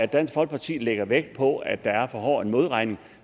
dansk folkeparti lægger vægt på at der er for hård en modregning